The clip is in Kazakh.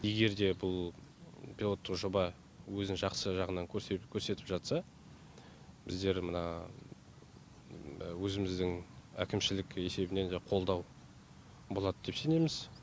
егер де бұл пилоттық жоба өзін жақсы жағынан көрсетіп көрсетіп жатса біздер мына өзіміздің әкімшілік есебінен жаңағы қолдау болады деп сенеміз